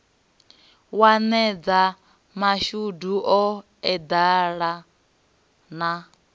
wanedza mashudu o eḓela na